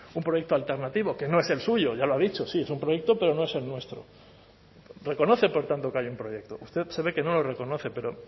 un proyecto alternativo que no es el suyo ya lo ha dicho sí es un proyecto pero no es el nuestro reconoce por tanto que hay un proyecto usted se ve que no lo reconoce pero